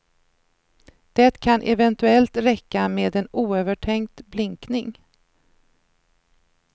Det kan eventuellt räcka med en oövertänkt blinkning.